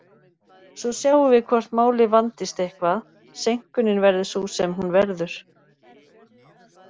Svo sjáum við hvort málið vandist eitthvað, seinkunin verður sú sem hún verður.